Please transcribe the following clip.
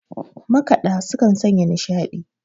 makaɗa sukan Sanya nishaɗi